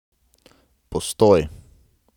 Postoj!